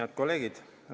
Head kolleegid!